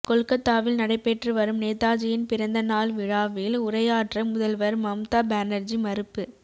கொல்கத்தாவில் நடைபெற்று வரும் நேதாஜியின் பிறந்த நாள் விழாவில் உரையாற்ற முதல்வர் மம்தா பானர்ஜி மறுப்பு